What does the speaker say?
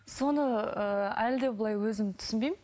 соны ыыы әлі де былай өзім түсінбеймін